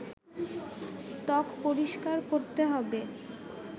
ত্বক পরিষ্কার করতে হবে